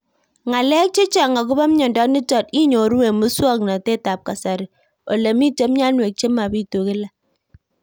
Ng'alek chechang' akopo miondo nitok inyoru eng' muswog'natet ab kasari ole mito mianwek che mapitu kila